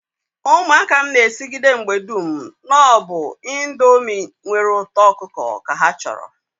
Umuaka m n'esigide mgbe dum na-obu ndomi nwere uto okuko ka ha choro